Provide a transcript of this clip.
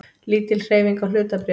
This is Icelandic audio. Lítil hreyfing á hlutabréfum